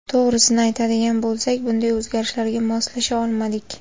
To‘g‘risini aytadigan bo‘lsak, bunday o‘zgarishlarga moslasha olmadik.